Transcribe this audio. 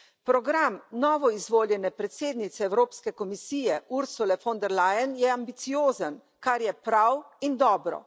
Program novoizvoljene predsednice Evropske komisije Ursule von der Leyen je ambiciozen, kar je prav in dobro.